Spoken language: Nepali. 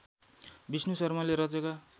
विष्णु शर्माले रचेका